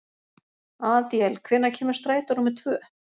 Adíel, hvenær kemur strætó númer tvö?